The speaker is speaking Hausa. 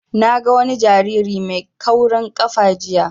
Na ga wani jariri mai kaurin ƙafa jiya